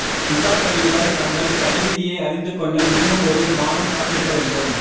இசா கைதிகள் தங்கள் தலைவிதியை அறிந்து கொள்ள இன்னும் ஒரு மாதம் காத்திருக்க வேண்டும்